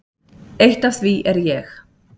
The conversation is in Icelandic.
Eitt af því er ég.